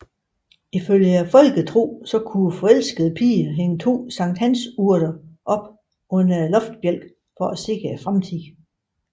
Ifølge folketroen kunne forelskede piger hænge to sankthansurter op under loftsbjælken for at se fremtiden